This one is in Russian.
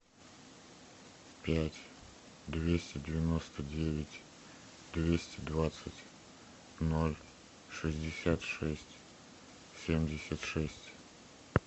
пять двести девяносто девять двести двадцать ноль шестьдесят шесть семьдесят шесть